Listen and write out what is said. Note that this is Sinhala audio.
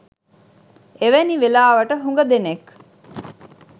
එවැනි වෙලාවට හුග දෙනෙක්